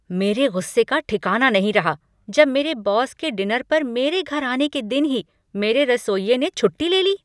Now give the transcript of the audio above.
मेरे गुस्से का ठिकाना नहीं रहा जब मेरे बॉस के डिनर पर मेरे घर आने के दिन ही मेरे रसोइये ने छुट्टी ले ली।